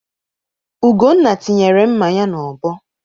Ugonna tinyere mma ya n'ọbọ